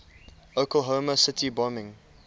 oklahoma city bombing